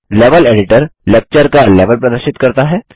level editor lecture का level प्रदर्शित करता है